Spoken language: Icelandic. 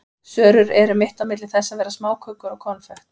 Sörur eru mitt á milli þess að vera smákökur og konfekt.